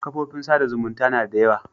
Kofofin sa da zumunta na da yawa